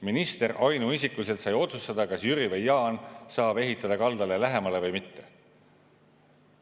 Minister ainuisikuliselt sai otsustada, kas Jüri või Jaan saab ehitada kaldale lähemale või mitte.